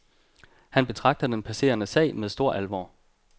Han betragter den passerede sag med stor alvor.